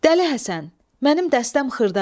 Dəli Həsən, mənim dəstəm xırdadır.